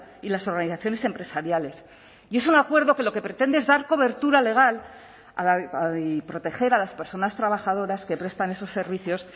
y las organizaciones empresariales y es un acuerdo que lo que pretende es dar cobertura legal y proteger a las personas trabajadoras que prestan esos servicios